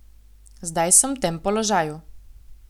Zdaj sem v tem položaju.